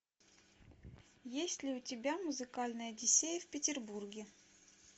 есть ли у тебя музыкальная одиссея в петербурге